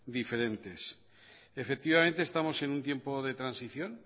diferentes efectivamente estamos en un tiempo de transición